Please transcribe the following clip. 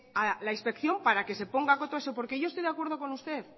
a la inspección para que se ponga coto a eso porque yo estoy de acuerdo con usted